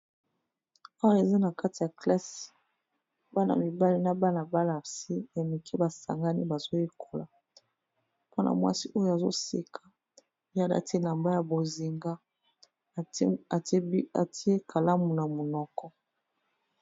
Oyo eza na kati ya classe, bana mibali na bana basi mike ba sangani, bazo yekola mwana mwasi oyo azo seka, ye a lati elamba ya bozinga, a tié e kalamu na munoko .